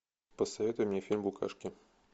посоветуй мне фильм букашки